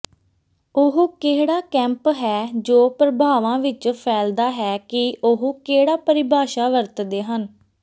ਉਹ ਕਿਹੜਾ ਕੈਂਪ ਹੈ ਜੋ ਪ੍ਰਭਾਵਾਂ ਵਿੱਚ ਫੈਲਦਾ ਹੈ ਕਿ ਉਹ ਕਿਹੜਾ ਪਰਿਭਾਸ਼ਾ ਵਰਤਦੇ ਹਨ